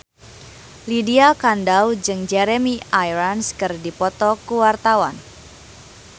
Lydia Kandou jeung Jeremy Irons keur dipoto ku wartawan